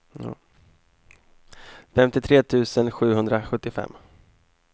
femtiotre tusen sjuhundrasjuttiofem